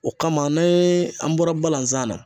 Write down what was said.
O kama ni an bɔra balanzan na